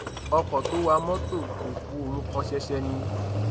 ọkọ tó wa mọtò kò ku òun kàn ṣẹṣẹ ni